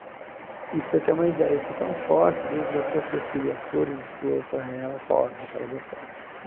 E para você ter uma ideia, eu fui tão forte, Deus me deu força que eu escolhi as cores de flor para ela, rosa, que ela gostava.